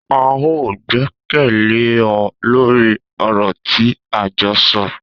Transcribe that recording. A o gbẹkẹle ọ lórí ọ̀rọ̀ tí a jọ sọ